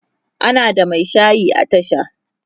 ana da Mai shayi a tasha